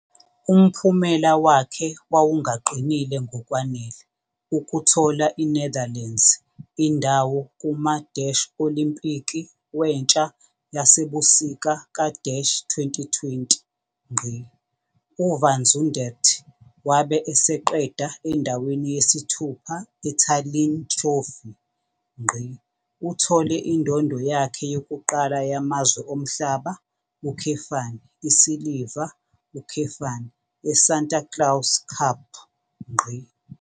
Umphumela wakhe wawungaqinile ngokwanele ukuthola iNetherlands indawo kuma- Olimpiki Wentsha Yasebusika ka-2020. UVan Zundert wabe eseqeda endaweni yesithupha eTallinn Trophy. Uthole indondo yakhe yokuqala yamazwe omhlaba, isiliva, eSanta Claus Cup.